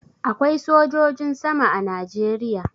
Akwai sojojin sama a Najeriya.